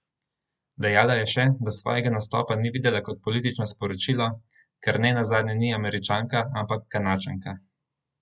Dejala je še, da svojega nastopa ni videla kot politično sporočilo, ker ne nazadnje ni Američanka, ampak Kanadčanka.